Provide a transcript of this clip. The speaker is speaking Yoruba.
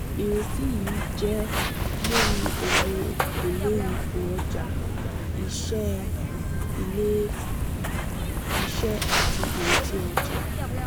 ìrètí yìí jẹ́ lórí owó èlé ipò ọjà iṣẹ́ ilé-iṣẹ́ àti ìretí ọjà.